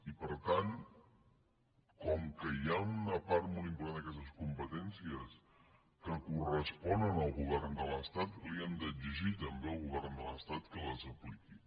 i per tant com que hi ha una part molt important d’aquestes competències que corresponen al govern de l’estat li hem d’exigir també al govern de l’estat que les apliqui